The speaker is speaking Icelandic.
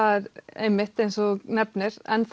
einmitt eins og þú nefnir